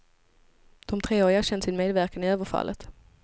De tre har erkänt sin medverkan i överfallet.